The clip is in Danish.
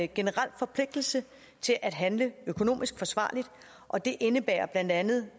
generel forpligtelse til at handle økonomisk forsvarligt og det indebærer blandt andet